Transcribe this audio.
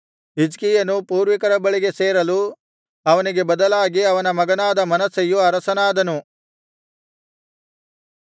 ಹಿಜ್ಕೀಯನು ಪೂರ್ವಿಕರ ಬಳಿಗೆ ಸೇರಲು ಅವನಿಗೆ ಬದಲಾಗಿ ಅವನ ಮಗನಾದ ಮನಸ್ಸೆಯು ಅರಸನಾದನು